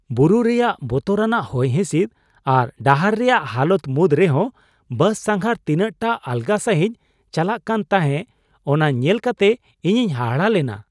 ᱵᱩᱨᱩ ᱨᱮᱭᱟᱜ ᱵᱚᱛᱚᱨᱟᱱᱟᱜ ᱦᱚᱭ ᱦᱤᱸᱥᱤᱫ ᱟᱨ ᱰᱟᱦᱟᱨ ᱨᱮᱭᱟᱜ ᱦᱟᱞᱚᱛ ᱢᱩᱫᱽ ᱨᱮᱦᱚᱸ ᱵᱟᱥ ᱥᱟᱸᱜᱷᱟᱨ ᱛᱤᱱᱟᱹᱜ ᱴᱟ ᱟᱞᱜᱟ ᱥᱟᱹᱦᱤᱡ ᱪᱟᱞᱟᱜ ᱠᱟᱱ ᱛᱟᱦᱮᱸ ᱚᱱᱟ ᱧᱮᱞ ᱠᱟᱛᱮ ᱤᱧᱤᱧ ᱦᱟᱦᱟᱜ ᱞᱮᱱᱟ ᱾